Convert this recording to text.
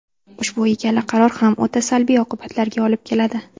Ushbu ikkala qaror ham o‘ta salbiy oqibatlarga olib keladi.